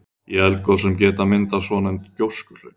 Í eldgosum geta myndast svonefnd gjóskuhlaup.